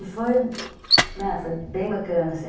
E foi bem bacana, assim.